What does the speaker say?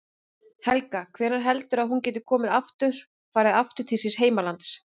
Helga: Hvenær heldurðu að hún geti komið aftur, farið aftur til síns heimalands?